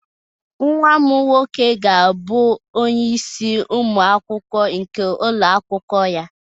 Nwa m nwoke ga-abụ onye isi ụmụ akwụkwọ nke ụlọ akwụkwọ ya